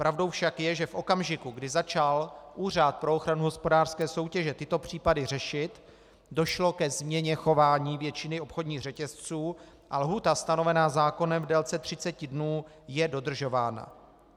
Pravdou však je, že v okamžiku, kdy začal Úřad pro ochranu hospodářské soutěže tyto případy řešit, došlo ke změně chování většiny obchodních řetězců a lhůta stanovená zákonem v délce 30 dnů je dodržována.